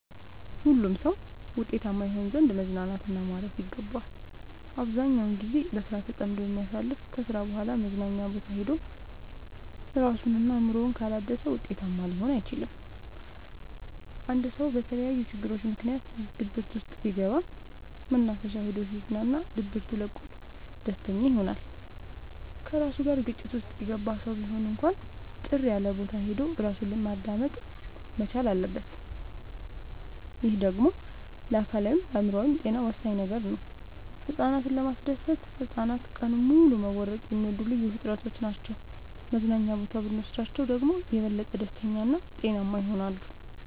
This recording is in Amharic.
ሁሉም ሰው ውጤታማ ይሆን ዘንድ መዝናናት እና ማረፍ ይገባዋል። አብዛኛውን ግዜውን በስራ ተጠምዶ የሚያሳልፍ ከስራ በኋላ መዝናኛ ቦታ ሄዶ እራሱን እና አእምሮውን ካላደሰ ውጤታማ ሊሆን አይችልም። አንድ ሰው በተለያዩ ችግሮች ምክንያት ድብርት ውስጥ ቢገባ መናፈሻ ሄዶ ሲዝናና ድብቱ ለቆት ደስተኛ ይሆናል። ከራሱ ጋር ግጭት ውስጥ የገባ ሰው ቢሆን እንኳን ጭር ያለቦታ ሄዶ እራሱን ማዳመጥ መቻል አለበት። ይህ ደግሞ ለአካላዊይም ለአእምሮአዊም ጤና ወሳኝ ነገር ነው። ህፃናትን ለማስደሰት ህፃናት ቀኑን ሙሉ መቦረቅ የሚወዱ ልዩ ፍጥረቶች ናቸው መዝናና ቦታ ብኖስዳቸው ደግሞ የበለጠ ደስተኛ እና ጤናማ ይሆናሉ።